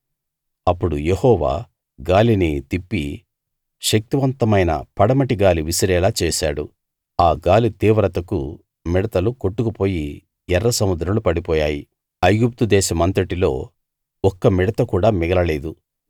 అప్పుడు యెహోవా గాలిని తిప్పి శక్తివంతమైన పడమటి గాలి విసిరేలా చేశాడు ఆ గాలి తీవ్రతకు మిడతలు కొట్టుకుపోయి ఎర్ర సముద్రంలో పడిపోయాయి ఐగుప్తు దేశమంతటిలో ఒక్క మిడత కూడా మిగలలేదు